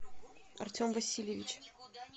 артем васильевич